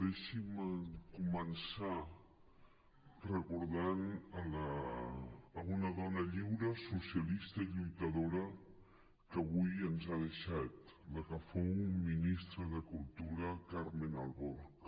deixin me començar recordant una dona lliure socialista i lluitadora que avui ens ha deixat la que fou ministra de cultura carmen alborch